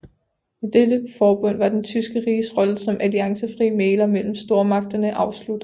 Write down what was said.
Med dette forbund var det tyske riges rolle som alliancefri mægler mellem stormagterne afsluttet